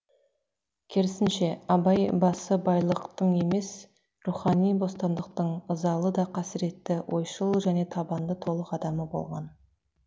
керісінше абай басыбайлықтың емес рухани бостандықтың ызалы да қасіретті ойшыл және табанды толық адамы болған